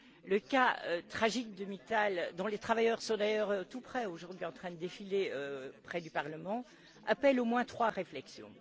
Le cas tragique de Mittal, dont les travailleurs sont d'ailleurs tout près aujourd'hui, en train de défiler près du Parlement, appelle au moins trois réflexions.